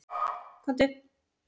Hann klæddist og gekk út.